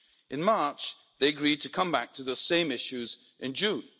In March, they agreed to come back to the same issues in June.